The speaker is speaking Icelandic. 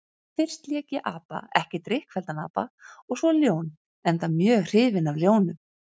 Fyrst lék ég apa, ekki drykkfelldan apa, og svo ljón, enda mjög hrifinn af ljónum.